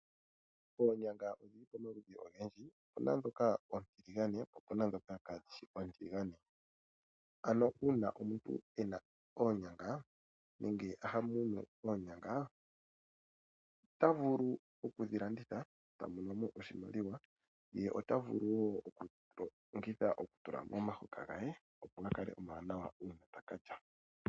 Oonyanga odhili oamakudhi ogendji. Opu na ndhoka oontiligane, po opu na ndhoka kaadhi shi oontiligane. Ano uuna omuntu e na oonyanga, nenge ha mono oonyanga, it's vulu okushi landitha, ye ta mono oshimaliwa. Ota vulu wo okudhi longitha sho ta tula momahoka ge opo ga kale omawanawa sho taka lya.